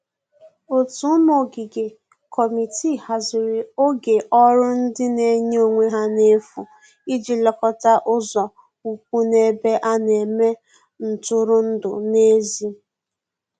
ótu ụmụ ogige/ Kọmitịị hazịrị oge ọrụ ndi n'enye onwe ha n'efu ịji lekota ụzo ụkwụ n'ebe ana eme ntụrụndụ n'ezi